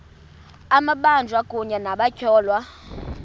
amabanjwa kunye nabatyholwa